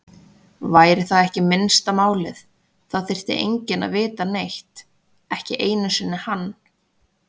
Væri það ekki minnsta málið, það þyrfti enginn að vita neitt, ekki einu sinni hann.